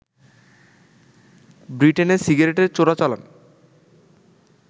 ব্রিটেনে সিগারেটের চোরাচালান